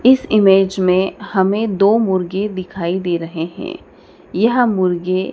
इस इमेज में हमें दो मुर्गे दिखाई दे रहे हैं यह मुर्गे--